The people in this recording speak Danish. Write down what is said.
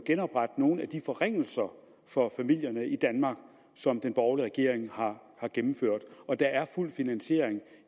at nogle af de forringelser for familierne i danmark som den borgerlige regering har gennemført og der er fuld finansiering